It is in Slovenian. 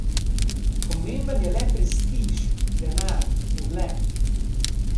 Pomemben je le prestiž, denar, ugled.